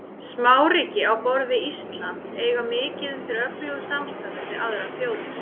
Smáríki á borð við Ísland eiga mikið undir öflugu samstarfi við aðrar þjóðir.